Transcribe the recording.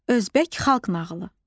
Özbək xalq nağılı.